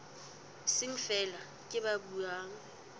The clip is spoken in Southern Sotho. seng feela ke ba buang